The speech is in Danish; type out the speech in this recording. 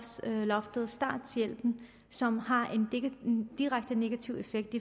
starthjælpen som har en direkte negativ effekt